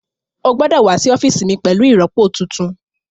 Ó gbọ́dọ̀ wá sí ọ́fíìsì mi pẹ̀lú ìrọpo tuntun